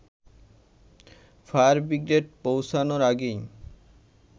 fire brigade পৌঁছানোর আগেই